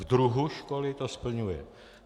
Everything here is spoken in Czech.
V druhu školy to splňuje.